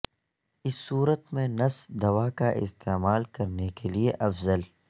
اس صورت میں نس دوا کا استعمال کرنے کے لئے افضل